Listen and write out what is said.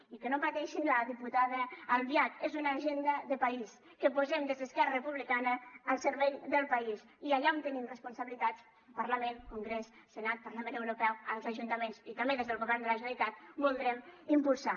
i que no pateixi la diputada albiach és una agenda de país que posem des d’esquerra republicana al servei del país i que allà on tenim responsabilitats parlament congrés senat parlament europeu als ajuntaments i també des del govern de la generalitat voldrem impulsar